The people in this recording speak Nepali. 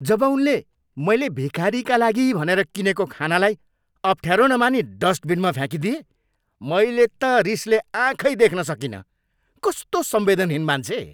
जब उनले मैले भिखारीका लागि भनेर किनेको खानालाई अफ्ठ्यारो नमानी डस्टबिनमा फ्याँकिदिए, मैले त रिसले आँखै देख्न सकिनँ। कस्तो संवेदनहीन मान्छे!